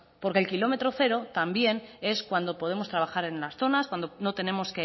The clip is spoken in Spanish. porque el kilómetro cero también es cuando podemos trabajar en unas zonas cuando no tenemos